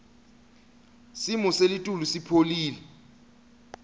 simo selitulu sipholile